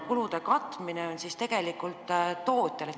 Kulude katmine on siis tegelikult tootja mure.